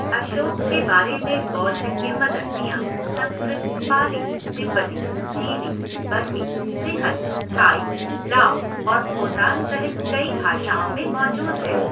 अशोक के बारे में बौद्ध किंवदंतियाँ संस्कृत, पाली, तिब्बती, चीनी, बर्मी, सिंहल, थाई, लाओ और खोतान सहित कई भाषाओं में मौजूद हैं।